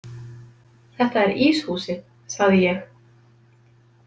Þetta er íshúsið, sagði ég.